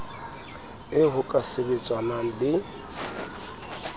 eo ho ka sebetsanwang le